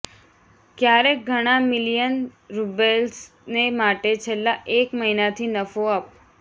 ક્યારેક ઘણાં મિલિયન રુબેલ્સને માટે છેલ્લા એક મહિનાથી નફો અપ